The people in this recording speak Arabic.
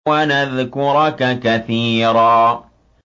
وَنَذْكُرَكَ كَثِيرًا